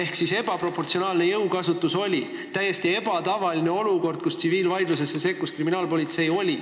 Oli ebaproportsionaalne jõukasutus ja tekkis täiesti ebatavaline olukord, kus tsiviilvaidlusesse sekkus kriminaalpolitsei.